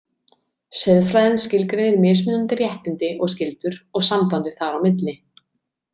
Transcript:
Siðfræðin skilgreinir mismunandi réttindi og skyldur og sambandið þar á milli.